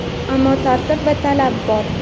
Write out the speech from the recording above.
Ammo tartib va talab bor.